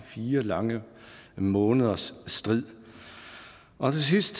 fire lange måneders strid og til sidst